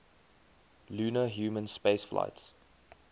lunar human spaceflights